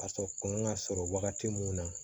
A sɔrɔ kun ka sɔrɔ wagati mun na